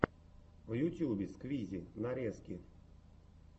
в ютюбе сквизи нарезки